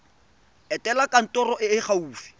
etela kantoro e e gaufi